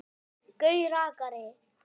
Gaui rakari.